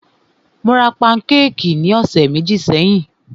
Mó rá pankékì ní ọ̀sẹ̀ méjì sẹ́yìn.